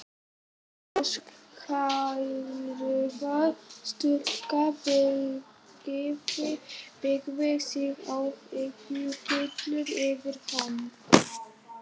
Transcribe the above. Ljóshærða stúlkan beygði sig áhyggjufull yfir hann.